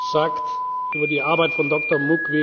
sagt über die Arbeit von